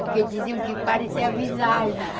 Porque diziam que parecia visagem